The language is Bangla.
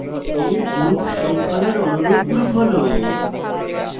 এই group শৃঙ্খলার অনুরূপ group হল: